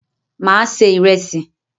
Mà á se ìrẹsì.